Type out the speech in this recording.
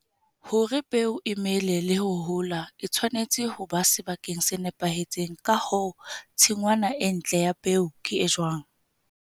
Hore peo e mele le ho hola, e tshwanetse ho ba sebakeng se nepahetseng. Ka hoo, tshingwana e ntle ya peo ke e jwang?